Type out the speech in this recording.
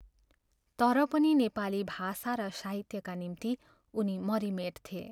तर पनि नेपाली भाषा र साहित्यका निम्ति उनी मरिमेट्थे।